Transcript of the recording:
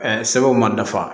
sɛbɛnw ma dafa